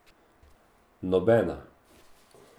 Nobena.